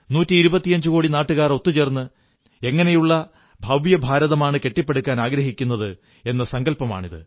നൂറ്റിയിരുപത്തിയഞ്ചുകോടി നാട്ടുകാർ ഒത്തുചേർന്ന് എങ്ങനെയുള്ള ഭവ്യഭാരതമാണ് കെട്ടിപ്പടുക്കാനാഗ്രഹിക്കുന്നത് എന്ന സങ്കല്പമാണിത്